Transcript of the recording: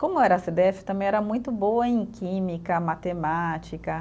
Como eu era cê dê efe, também era muito boa em química, matemática.